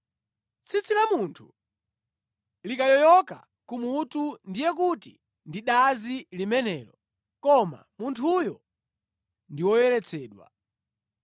“Tsitsi la munthu likayoyoka kumutu ndiye kuti ndi dazi limenelo koma munthuyo ndi woyeretsedwa.